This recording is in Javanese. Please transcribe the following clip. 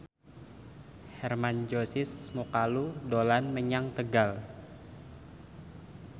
Hermann Josis Mokalu dolan menyang Tegal